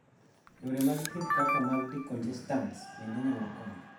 Yore mag thieth kaka mag decongestants bende nyalo konyo.